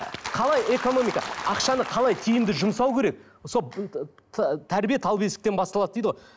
қалай экономика ақшаны қалай тиімді жұмсау керек тәрбие тал бесіктен басталады дейді ғой